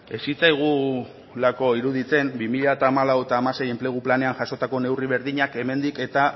ez zitzaigulako iruditzen bi mila hamalau eta hamasei enplegu planean jasotako neurri berdinak hemendik eta